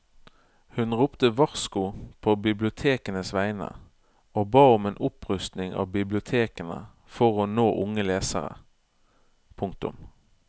Hun ropte varsko på bibliotekenes vegne og ba om en opprustning av bibliotekene for å nå unge lesere. punktum